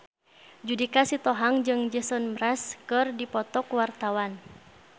Judika Sitohang jeung Jason Mraz keur dipoto ku wartawan